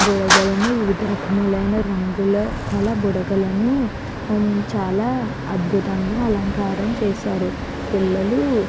బుడగలను వివిధ రకములైన రంగుల గల బుడగలను చాలా అద్భుతంగా అలంకారం చేశారు. పిల్లలు --